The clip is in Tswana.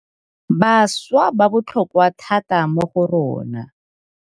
Bašwa ba botlhokwa thata mo go rona.